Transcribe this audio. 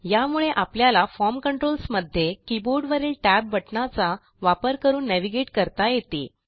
यामुळे आपल्याला form controls मध्ये कीबोर्डवरील टॅब बटणाचा वापर करून नेव्हिगेट करता येते